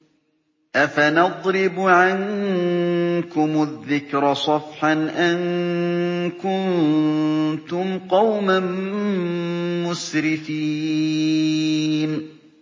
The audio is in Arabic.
أَفَنَضْرِبُ عَنكُمُ الذِّكْرَ صَفْحًا أَن كُنتُمْ قَوْمًا مُّسْرِفِينَ